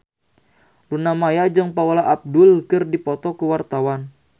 Luna Maya jeung Paula Abdul keur dipoto ku wartawan